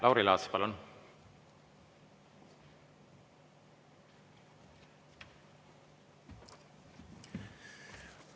Lauri Laats, palun!